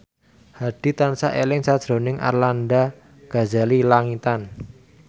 Hadi tansah eling sakjroning Arlanda Ghazali Langitan